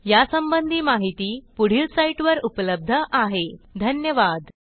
ह्या ट्युटोरियलचे भाषांतर मनाली रानडे यांनी केले असून मी रंजना भांबळे आपला निरोप घेतेसहभागासाठी धन्यवाद